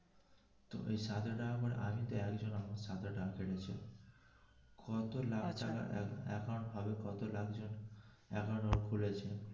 ওই আমি তো একজন আমার হয়েছিল কত লাখ টাকার account ভাবো কত লাখ জন ঘুরেছে.